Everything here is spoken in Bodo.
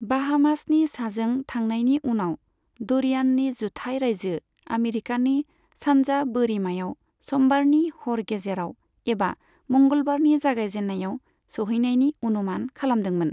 बाहामासनि साजों थांनायनि उनाव, ड'रियाननि जुथाइ राइजो आमेरिकानि सानजा बोरिमायाव समबारनि हर गेजेराव एबा मंगलबारनि जागायजेननायाव सौहैनायनि अनुमान खालामदोंमोन।